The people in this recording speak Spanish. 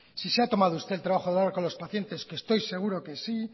si se ha tomado usted el trabajo con los pacientes que estoy seguro que sí